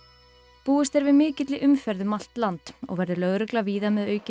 búist er við mikilli umferð um allt land og verður lögregla víða með aukinn